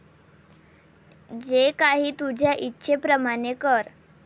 जे काही तुझ्या इच्छेप्रमाणे कर.